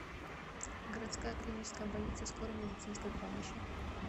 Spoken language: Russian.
городская клиническая больница скорой медицинской помощи